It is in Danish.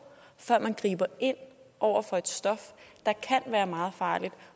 før man griber ind over for et stof der kan være meget farligt